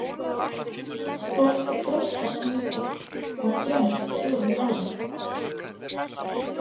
Fólk þroskast mikið á þremur fjórum árum.